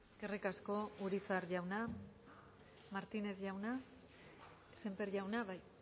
eskerrik asko urizar jauna martinez jauna sémper jauna bai